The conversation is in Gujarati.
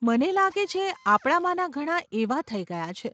મને લાગે છે, આપણામાના ઘણાં એવાં થઈ ગયાં છે.